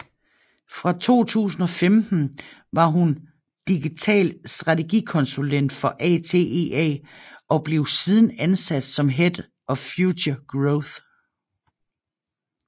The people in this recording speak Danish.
Fra 2015 var hun digital strategikonsulent for ATEA og blev siden ansat som head of Future Growth